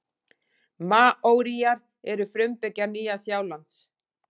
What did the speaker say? Maóríar eru frumbyggjar Nýja-Sjálands.